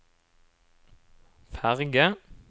ferge